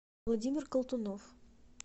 владимир колтунов